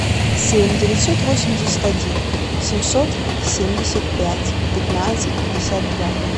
семь девятьсот восемьдесят один семьсот семьдесят пять пятнадцать пятьдесят два